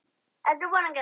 Hvernig líður henni?